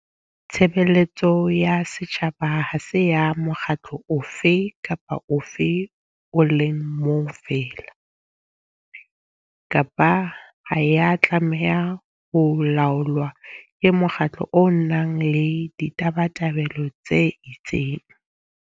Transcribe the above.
Tshebeletso ya setjhaba ha se ya mokgatlo ofe kapa ofe o le mong feela, kapa ha ya tlameha ho laolwa ke mokgatlo o nang le ditabatabelo tse itseng.